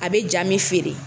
A bɛ ja mun feere.